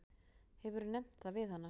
Hefurðu nefnt það við hana?